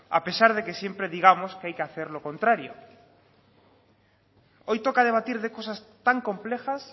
a pesar de que siempre digamos que hay que hacer lo contrario hoy toca debatir de cosas tan complejas